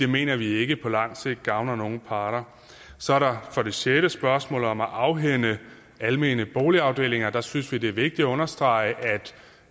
mener vi ikke på lang sigt gavner nogen parter så er der for det sjette spørgsmålet om at afhænde almene boligafdelinger der synes vi det er vigtigt at understrege